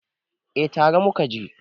eh tare muka je